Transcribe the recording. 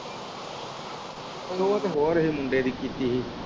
ਉਹ ਤੇ ਹੋਰ ਹੀ ਮੁੰਡੇ ਦੀ ਕੀਤੀ ਹੀ